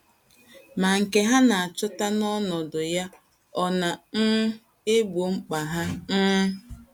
Ma nke ha na - achọta n’ọnọdụ ya ọ̀ na um - egbo mkpa ha? um